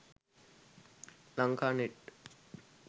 lanka net